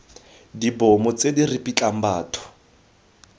dibomo tse di ripitlang batho